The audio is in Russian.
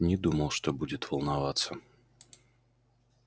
не думал что будет волноваться